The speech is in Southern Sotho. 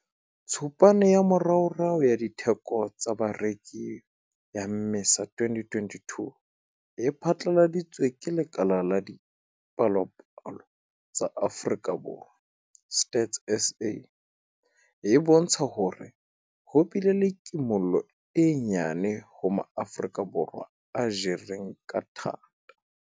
Tshupane ya moraorao ya Ditheko tsa Bareki ya Mmesa 2022 e phatlaladitsweng ke Lekala la Dipalopalo tsa Afrika Borwa, Stats SA, e bontsha hore ho bile le kimollo e nyenyane ho Maafrika Borwa a jereng ka thata.